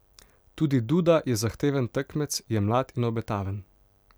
Tudi Duda je zahteven tekmec, je mlad in obetaven.